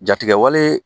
Jatigɛwale